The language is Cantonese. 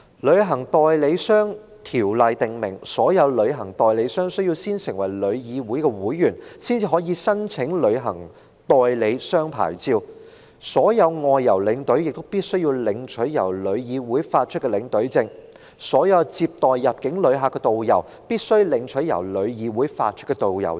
《旅行代理商條例》訂明，所有旅行代理商須先成為旅議會會員，才可申請旅行代理商牌照；所有外遊領隊必須領取由旅議會發出的領隊證；所有接待入境旅客的導遊必須領取由旅議會發出的導遊證。